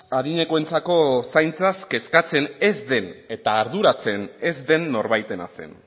adinekoentzako zaintzaz kezkatzen ez den eta arduratzen ez den norbaitena zen